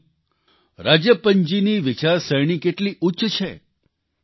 વિચારો રાજપ્પનજીની વિચારસરણી કેટલી ઉચ્ચ છે